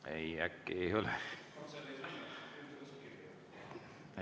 Ei, äkki ei ole.